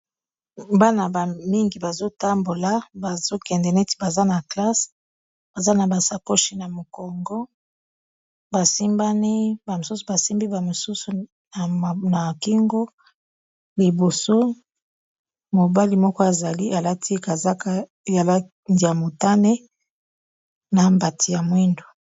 Bana bamingi bazotambola bazokende neti baza na classe baza na basapochi ya mokongo bamosusu basimbi bamosusu na kingo liboso mobali moko azali alati kazaka yalandia motane na mbati ya mwindu